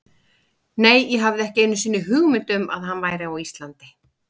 Nei, ég hafði ekki einu sinni hugmynd um að hann væri á Íslandi.